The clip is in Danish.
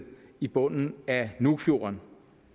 i bunden af nuukfjorden